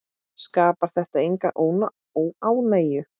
Skapar þetta enga óánægju?